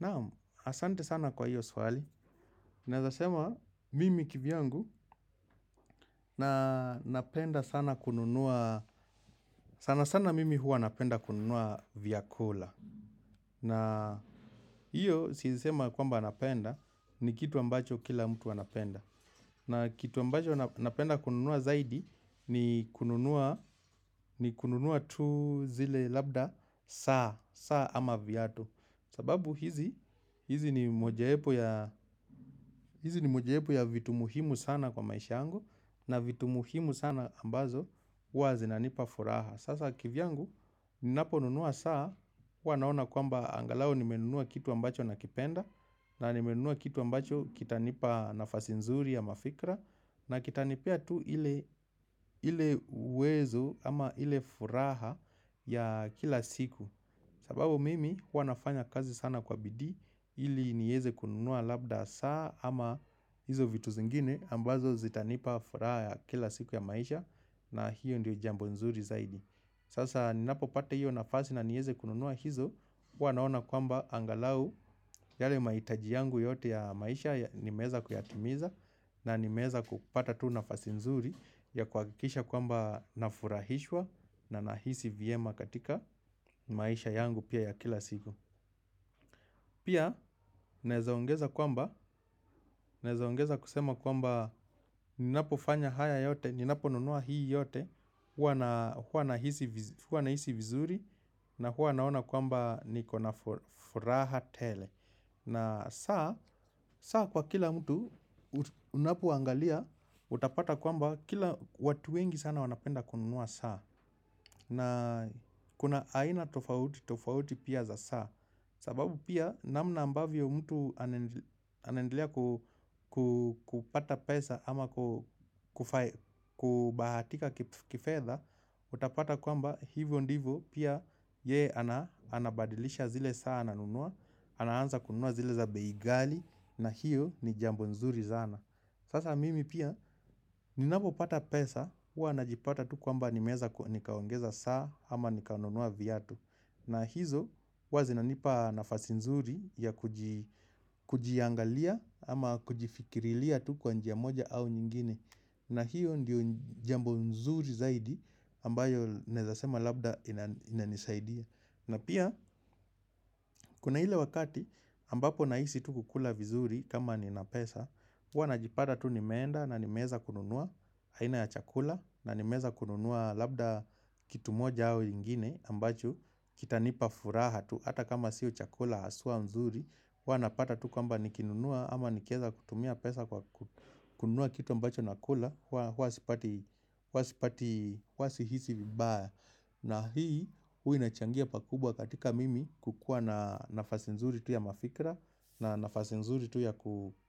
Naam, asante sana kwa hiyo swali. Naeza sema, mimi kivyangu, na napenda sana kununua, sana sana mimi huwa napenda kununua vyakula. Na hiyo, siezi sema ya kwamba napenda, ni kitu ambacho kila mtu anapenda. Na kitu ambacho napenda kununua zaidi ni kununua ni kununua tu zile labda saa ama viatu sababu hizi hizi ni hizi ni mojawapo ya vitu muhimu sana kwa maisha yangu. Na vitu muhimu sana ambazo huwa zinanipa furaha. Sasa kivyangu ninaponunua saa huwa naona kwamba angalau nimenunua kitu ambacho nakipenda. Na nimenunua kitu ambacho kitanipa nafasi nzuri ama fikra. Na kitanipea tu ile uwezo ama ile furaha ya kila siku. Sababu mimi huwa nafanya kazi sana kwa bidii ili niweze kununua labda saa ama hizo vitu zingine ambazo zitanipa furaha ya kila siku ya maisha na hiyo ndiyo jambo nzuri zaidi. Sasa ninapopata hiyo nafasi na nieze kununua hizo, huwa naona kwamba angalau yale mahitaji yangu yote ya maisha nimeweza kuyatimiza na nimeweza kupata tu nafasi nzuri ya kuhakikisha kwamba nafurahishwa na nahisi vyema katika maisha yangu pia ya kila siku. Pia, naeza ongeza kwamba, naeza ongeza kusema kwamba, ninapo fanya haya yote, ninapo nunua hii yote, huwa na hisi vizuri, na huwa naona kwamba niko na furaha tele. Na saa, saa kwa kila mtu, unapoangalia, utapata kwamba, kila watu wengi sana wanapenda kununua saa. Na kuna aina tofauti tofauti pia za saa sababu pia namna ambavyo mtu anaendelea kupata pesa ama kubahatika kifedha, utapata kwamba hivyo ndivyo pia yeye anabadilisha zile saa ananunua, anaanza kunua zile za bei ghali na hiyo ni jambo nzuri sana. Sasa mimi pia, ninapo pata pesa, huwa najipata tu kwamba nimeweza nikaongeza saa ama nikanunua viatu. Na hizo huwa zinanipa nafasi nzuri ya kujiangalia ama kujifikirilia tu kwa njia moja ama nyingine. Na hiyo ndio jambo nzuri zaidi ambayo naeza sema labda inanisaidia. Na pia, kuna ile wakati ambapo nahisi tu kukula vizuri kama nina pesa, huwa najipata tu nimeenda na nimeeza kununua aiina ya chakula na nimeeza kununua labda kitu moja au ingine ambacho kita nipa furaha tu. Hata kama siyo chakula haswa nzuri huwa napata tu kwamba nikinunua ama nikieza kutumia pesa kwa kununua kitu ambacho nakula. Huwa sipati, huwa sipati, huwa sihisi vibaya. Na hii huwa inachangia pakubwa katika mimi kukuwa na nafasi nzuri tu ya mafikra. Na nafasi nzuri tu ya